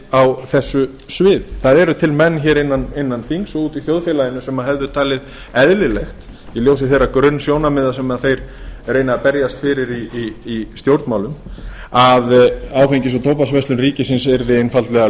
á þessu sviði það eru til menn innan þings og úti í þjóðfélaginu sem hefði talið eðlilegt í ljósi þeirra grunnsjónarmiða sem þeir reyna að berjast fyrir í stjórnmálum að áfengis og tóbaksverslun ríkisins yrði einfaldlega